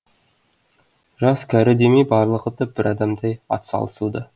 жас кәрі демей барлығы да бір адамдай атсалысуда